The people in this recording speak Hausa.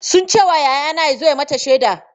Sun ce wa yayana ya zo ya yi mata shaida.